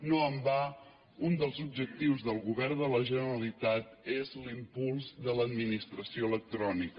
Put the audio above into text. no en va un dels objectius del govern de la generalitat és l’impuls de l’administració electrònica